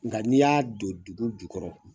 Nga n'i y'a don dugu jukɔrɔ.